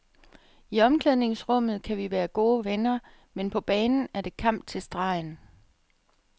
I omklædningsrummet kan vi være gode venner, men på banen er det kamp til stregen.